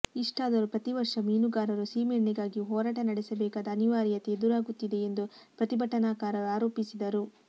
ಇಷ್ಟಾದರೂ ಪ್ರತಿವರ್ಷ ಮೀನುಗಾರರು ಸೀಮೆಎಣ್ಣೆಗಾಗಿ ಹೋರಾಟ ನಡೆಸಬೇಕಾದ ಅನಿವಾರ್ಯತೆ ಎದುರಾಗುತ್ತಿದೆ ಎಂದು ಪ್ರತಿಭಟನಾಕಾರರು ಆರೋಪಿಸಿದರು